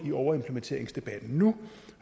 overimplementeringsdebatten nu